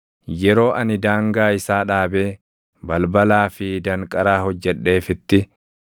yeroo ani daangaa isaa dhaabee balbalaa fi danqaraa hojjedheefitti,